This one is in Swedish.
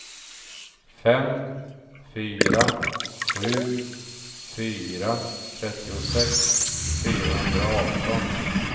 fem fyra sju fyra trettiosex fyrahundraarton